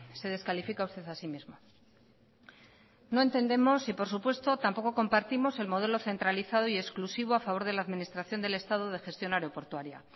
se descalifica usted a sí mismo no entendemos y por supuesto tampoco compartimos el modelo centralizado y exclusivo a favor de la administración del estado de gestión aeroportuaria